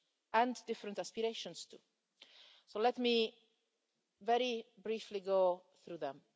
and different aspirations too, so let me very briefly go through them.